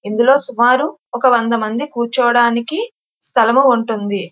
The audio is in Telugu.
ఇందులో సుమారు ఒక వంద మంది కూర్చోడానికి స్థలము ఉంటుంది.